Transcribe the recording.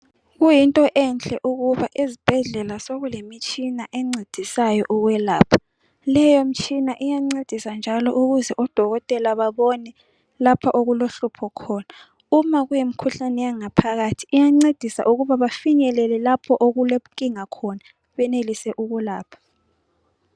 Kuyinto enhle ukuba ezibhedlela sokulemitshina encedisayo ukwelapha Leyo mtshina iyancedisa njalo ukuze odokotela babone lapha okulohlupho khona uma kuyimkhuhlane yangaphakathi iyancedisa ukuba bafinyelele lapho okulenkinga khona benelise ukulapha.